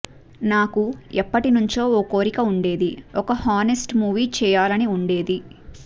నాకు ఎప్పటినుండో ఓ కోరిక ఉండేది ఒక హానెస్ట్ మూవీ చేయాలని ఉండేది